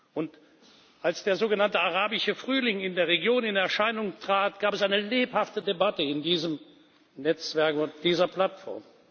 Und als der sogenannte Arabische Frühling in der Region in Erscheinung trat, gab es eine lebhafte Debatte in diesem Netzwerk und auf dieser Plattform.